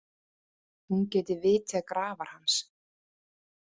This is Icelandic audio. Hún geti vitjað grafar hans.